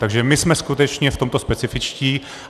Takže my jsme skutečně v tomto specifičtí.